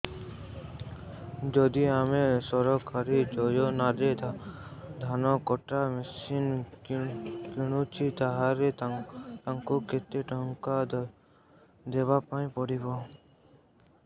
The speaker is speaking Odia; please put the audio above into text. ଯଦି ଆମେ ସରକାରୀ ଯୋଜନାରେ ଧାନ କଟା ମେସିନ୍ କିଣୁଛେ ତାହାଲେ ଆମକୁ କେତେ ଟଙ୍କା ଦବାପାଇଁ ପଡିବ